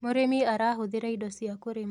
Mũrĩmi arahuthira indo zia kurima